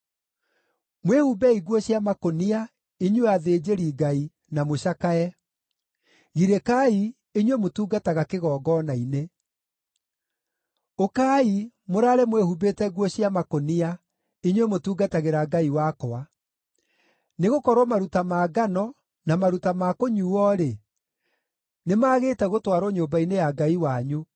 Mwĩhumbei nguo cia makũnia, inyuĩ athĩnjĩri-Ngai, na mũcakae; girĩkai, inyuĩ mũtungataga kĩgongona-inĩ. Ũkai, mũraare mwĩhumbĩte nguo cia makũnia, inyuĩ mũtungatagĩra Ngai wakwa; nĩgũkorwo maruta ma ngano, na maruta ma kũnyuuo-rĩ, nĩmagĩte gũtwarwo nyũmba-inĩ ya Ngai wanyu.